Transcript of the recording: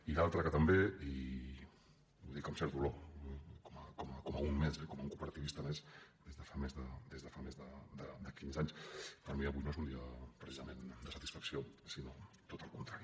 i l’altra que també i ho dic amb cert dolor com un més eh com un cooperativista més des de fa més de quinze anys per mi avui no és un dia precisament de satisfacció sinó tot al contrari